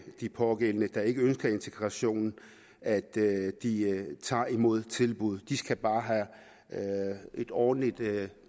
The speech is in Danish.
de pågældende der ikke ønsker integration at tage imod tilbuddet de skal bare have et ordentligt